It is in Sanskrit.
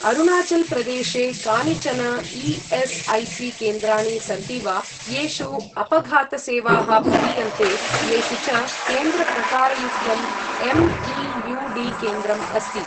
अरुणाचल् प्रदेशे कानिचन ई.एस्.ऐ.सी.केन्द्राणि सन्ति वा येषु अपघात सेवाः प्रदीयन्ते, येषु च केन्द्रप्रकारयुक्तं एम्.ई.यू.डी. केन्द्रम् अस्ति ।